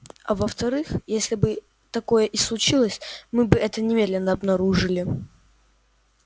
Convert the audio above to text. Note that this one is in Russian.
а во вторых если бы такое и случилось мы бы это немедленно обнаружили